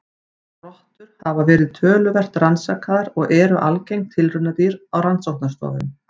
Rottur hafa verið töluvert rannsakaðar og eru algeng tilraunadýr á rannsóknastofum.